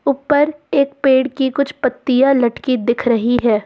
ऊपर एक पेड़ की कुछ पत्तियां लटकी दिख रही है।